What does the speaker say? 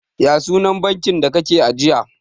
ya sunan bankin da kake ajiya?